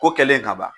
Ko kɛlen ka ban